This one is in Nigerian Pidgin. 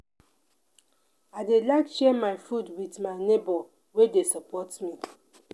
i dey like share my food wit my nebor wey dey support me.